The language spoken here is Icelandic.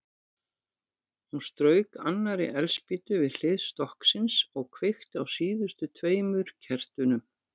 Hún strauk annarri eldspýtu við hlið stokksins og kveikti á síðustu tveimur kertunum.